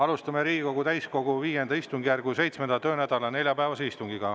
Alustame Riigikogu täiskogu V istungjärgu 7. töönädala neljapäevast istungit.